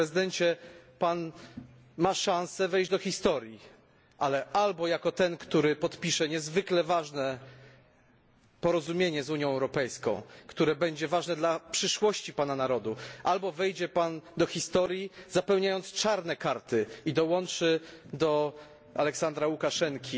Panie Prezydencie, ma Pan szansę wejść do historii, ale albo jako ten, który podpisze niezwykle ważne porozumienie z Unią Europejską, które będzie istotne dla przyszłości Pana narodu, albo wejdzie Pan do historii, zapełniając czarne karty i dołączy do Aleksandra Łukaszenki,